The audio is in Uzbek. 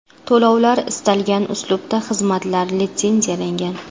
To‘lovlar istalgan uslubda Xizmatlar litsenziyalangan.